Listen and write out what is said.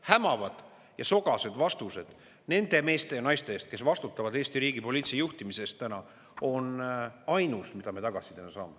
Hämavad ja sogased vastused nende meeste ja naiste suust, kes vastutavad Eesti riigi poliitilise juhtimise eest täna, on ainus, mida me tagasi saame.